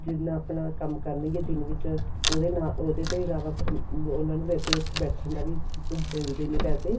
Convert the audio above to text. ਜਿੰਨਾ ਆਪਣਾ ਕੰਮ ਕਰਨਗੇ ਦਿਨ ਵਿੱਚ ਉਹਦੇ ਨਾਲ ਉਹਦੇ ਤੋਂ ਇਲਾਵਾ ਫਿਰ ਉਹਨਾ ਨੂੰ ਵੈਸੇ ਉੱਥੇ ਬੈਠਣ ਦਾ ਵੀ ਮਿਲਦੇ ਨੇ ਪੈਸੇ